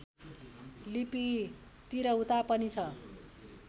लिपि तिरहुता पनि छ